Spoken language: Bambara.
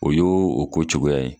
O y y' o ko cogoya ye.